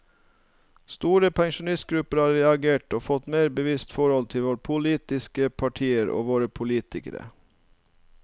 Store pensjonistgrupper har reagert og fått et mer bevisst forhold til våre politiske partier og våre politikere.